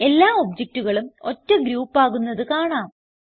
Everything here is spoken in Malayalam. എല്ലാ ഒബ്ജക്റ്റുകളും ഒറ്റ ഗ്രൂപ്പ് ആകുന്നത് കാണാം